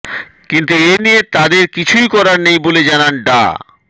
কিন্তু এনিয়ে তাদের কিছুই করার নেই বলে জানান ডা